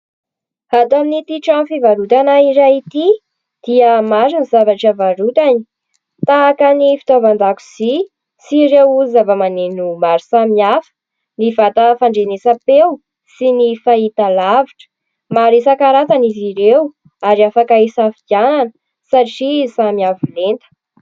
Ato amin'ity trano fivarotana iray ity dia maro ny zavatra varotany, tahaka ny fitaovan-dakozia sy ireo zavamaneno maro samihafa, ny vata fandrenesam-peo sy ny fahitalavitra. Maro isankarazany izy ireo ary afaka isafidianana satria samy avolenta.